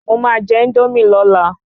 Mo máa jẹ Índómì lọ́la